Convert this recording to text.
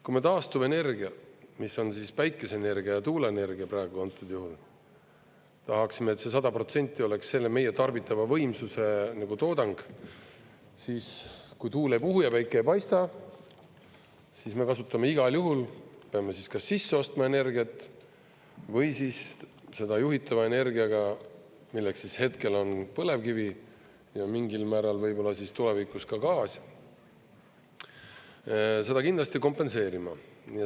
Kui me taastuvenergia, mis on päikeseenergia ja tuuleenergia praegu antud juhul, tahaksime, et see 100% oleks meie tarbitava võimsuse toodang, siis kui tuul ei puhu ja päike ei paista, siis me kasutame igal juhul, peame siis kas sisse ostma energiat või seda juhitava energiaga, milleks hetkel on põlevkivi ja mingil määral võib-olla tulevikus ka gaas, seda kindlasti kompenseerima.